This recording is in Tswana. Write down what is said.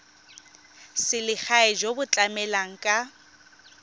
selegae jo bo tlamelang ka